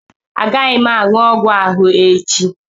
Agaghị m aṅụ ọgwụ ahụ echi